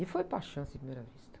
E foi paixão, assim, de primeira vista.